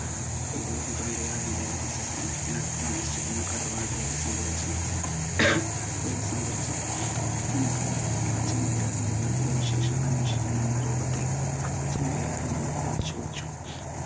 ഒരു ദിവസം ചെമ്മരിയാടിന്റെ നടുക്ക് താമസിച്ചിരുന്ന കടുവ ധൈര്യം സംഭരിച് ധൈര്യം സംഭരിച് ആ ചെമ്മരിയാടിന്റെ വീട്ടിലെ വിശേഷങ്ങൾ അന്വേഷിക്കാൻ എന്ന രൂപത്തിൽ ചെമ്മരിയാടിനോട് പോയി ചോദിച്ചു